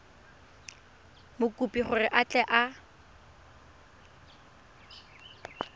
mokopi gore a tle a